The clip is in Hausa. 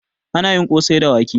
Anayi kosai da wake